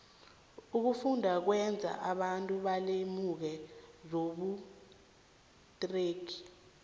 ukufunda kwenza abantu balemuke zobuterhnigi